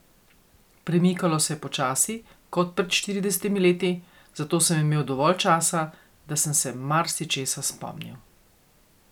Premikalo se je počasi kot pred štiridesetimi leti, zato sem imel dovolj časa, da sem se marsičesa spomnil.